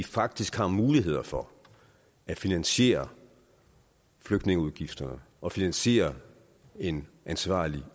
faktisk har mulighed for at finansiere flygtningeudgifterne og finansiere en ansvarlig